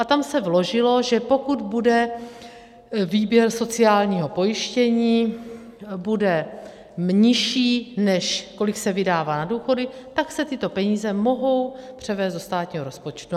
A tam se vložilo, že pokud bude výběr sociálního pojištění, bude nižší, než kolik se vydává na důchody, tak se tyto peníze mohou převést do státního rozpočtu.